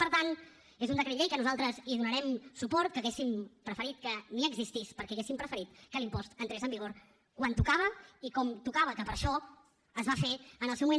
per tant és un decret llei que nosaltres hi donarem suport que hauríem preferit que ni existís perquè hauríem preferit que l’impost entrés en vigor quan tocava i com tocava que per això es va fer en el seu moment